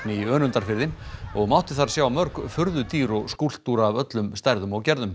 í Önundarfirði og mátti þar sjá mörg furðudýr og skúlptúra af öllum stærðum og gerðum